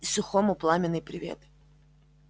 и сухому пламенный привет